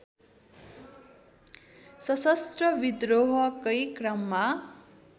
शसस्त्र विद्रोहकै क्रममा